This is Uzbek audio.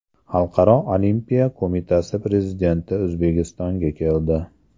Xalqaro olimpiya qo‘mitasi prezidenti O‘zbekistonga keldi.